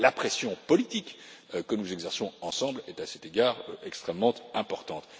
La pression politique que nous exerçons ensemble est, à cet égard, extrêmement importante.